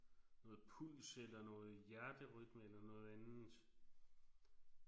Noget puls eller noget hjerterytme eller noget andet